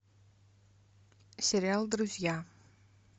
сериал друзья